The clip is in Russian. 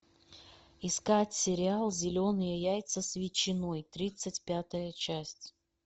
искать сериал зеленые яйца с ветчиной тридцать пятая часть